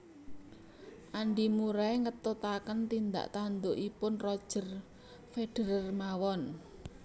Andi Murray ngetutaken tindak tandukipun Roger Federer mawon